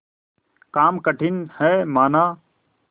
काम कठिन हैमाना